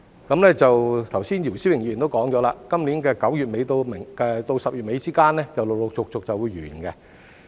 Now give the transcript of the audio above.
剛才姚思榮議員亦提到，今年9月底至10月底之間便會陸陸續續完結。